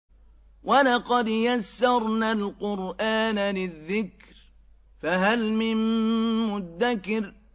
وَلَقَدْ يَسَّرْنَا الْقُرْآنَ لِلذِّكْرِ فَهَلْ مِن مُّدَّكِرٍ